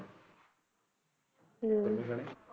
ਹਮ